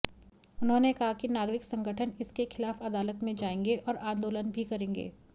उन्होंने कहा कि नागरिक संगठन इसके ख़िलाफ़ अदालत में जाएंगे और आंदोलन भी करेंगे